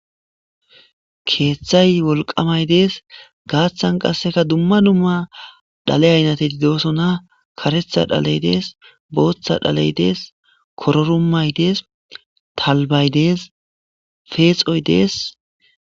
Keeththay wolqamay dees gaaththan qasseka dumma dumma dhale aynatedi doosona karetha dhaley dees booththa dhaley dees kororumay dees talbay dees feexoy dees